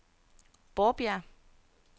Borbjerg